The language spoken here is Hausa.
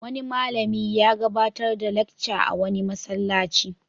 Wani malami ya gabatar da lacca a wani masallaci.